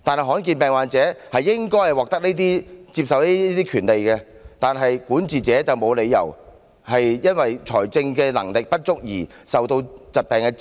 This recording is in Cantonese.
罕見病患者理應獲得接受醫療的權利，管治者沒有理由讓他們因為財政能力不足而受疾病煎熬。